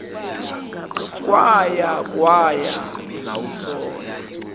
kwaya kwaya zawusola